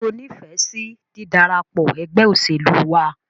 Ṣé o nífẹsí dídarapọ̀ ẹgbẹ́ òṣèlú wa?